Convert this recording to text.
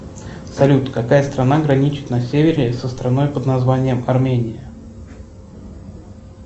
салют какая страна граничит на севере со страной под названием армения